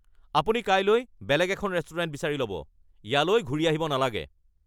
আপুনি কাইলৈ বেলেগ এখন ৰেষ্টুৰেণ্ট বিচাৰি ল’ব। ইয়ালৈ ঘূৰি অহিব নালাগে (ৰেষ্টুৰেণ্ট মেনেজাৰ)